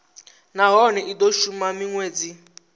nahone i do shuma minwedzi